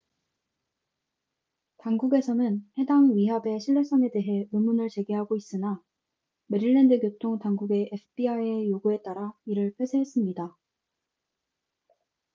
당국에서는 해당 위협의 신뢰성에 대해 의문을 제기하고 있으나 메릴랜드 교통 당국은 fbi의 요구에 따라 이를 폐쇄했습니다